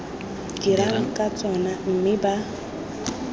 dirang ka tsona mme ba